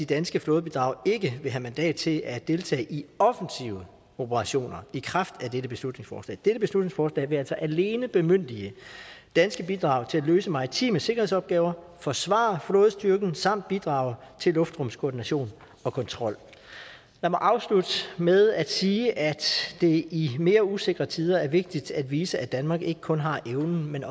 danske flådebidrag ikke vil have mandat til at deltage i offensive operationer i kraft af dette beslutningsforslag dette beslutningsforslag vil altså alene bemyndige danske bidrag til at løse maritime sikkerhedsopgaver forsvare flådestyrken samt bidrage til luftrumskoordination og kontrol lad mig afslutte med at sige at det i mere usikre tider er vigtigt at vise at danmark ikke kun har evnen men